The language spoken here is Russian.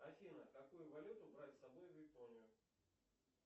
афина какую валюту брать с собой в японию